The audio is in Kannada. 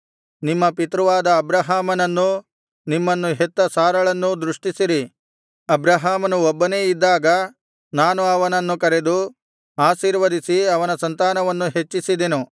ನಿಮ್ಮ ಪಿತೃವಾದ ಅಬ್ರಹಾಮನನ್ನೂ ನಿಮ್ಮನ್ನು ಹೆತ್ತ ಸಾರಳನ್ನೂ ದೃಷ್ಟಿಸಿರಿ ಅಬ್ರಹಾಮನು ಒಬ್ಬನೇ ಇದ್ದಾಗ ನಾನು ಅವನನ್ನು ಕರೆದು ಆಶೀರ್ವದಿಸಿ ಅವನ ಸಂತಾನವನ್ನು ಹೆಚ್ಚಿಸಿದೆನು